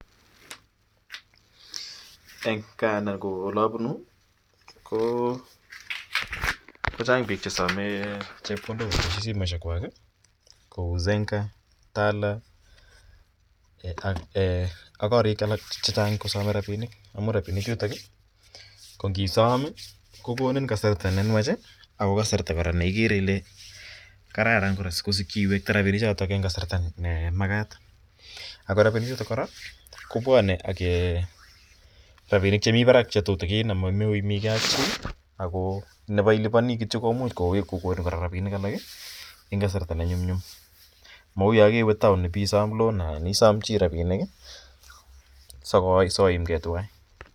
En gaa en olabunu ko Chang bik chesome chepkondok en simoishek chwak Kou Zenka loan, Tala loanak korik alak chechang kosame rabinik amun arabinik chuton kongisom kogonin kasarta nenywach ako kasarta koraa neigere Kole kararak koraa sikesiki kewekta rabinik choton en kasarta nemakat Akira rabinik chuton kobwanen ak rabinik Chemiten Barak akomakiimegei AK chi ako Nebo iliboni kityo cheimuch kogonin rabinik alak en kasarta nenyumnyum Mau yangewee taon Isom loan ana Isom chi rabinik soimgei twan